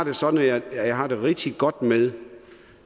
er sådan at jeg har det rigtig godt med